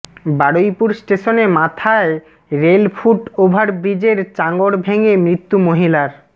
বারুইপুর স্টেশনে মাথায় rail foot over ব্রিজের চাঙড় ভেঙে মৃত্যু মহিলার